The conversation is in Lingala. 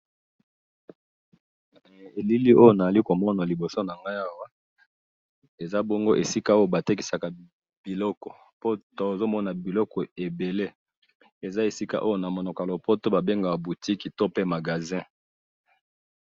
Elili Oyo naali komona liboso na ngayi awa, eza bongo esika Oyo batekisaka biloko, Po tozomona biloko ebele. Eza esika Oyo na Monoko ya lopoto Babengaka boutique to pe magasin.